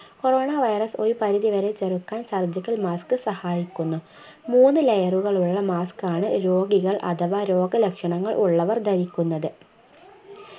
corona virus ഒരു പരിധി വരെ ചെറുക്കാൻ surgical mask സഹായിക്കുന്നു മൂന്ന് layer കളുള്ള mask ണ് രോഗികൾ അഥവാ രോഗ ലക്ഷണങ്ങൾ ഉള്ളവർ ധരിക്കുന്നത്